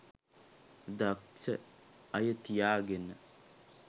දක්ෂ අය තියාගෙන